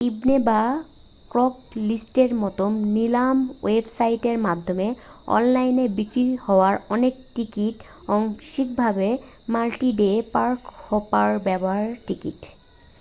ইবে বা ক্রেগলিস্টের মতো নিলাম ওয়েবসাইটের মাধ্যমে অনলাইনে বিক্রি হওয়া অনেক টিকিট আংশিকভাবে মাল্টি-ডে পার্ক-হপার ব্যবহৃত টিকিট